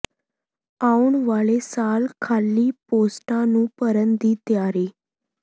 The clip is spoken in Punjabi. ਆਉਣ ਵਾਲੇ ਸਾਲ ਖਾਲੀ ਪੋਸਟਾਂ ਨੂੰ ਭਰਨ ਦੀ ਤਿਆਰੀ